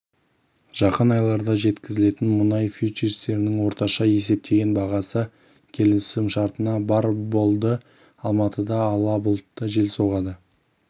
жақын айларда жеткізілетін мұнай фьючерстерінің орташа есептеген бағасы келісімшартына барр болды алматыда ала бұлтты жел соғады